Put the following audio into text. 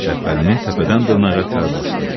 Şəbbəlini təpədən dırnağa tər basdı.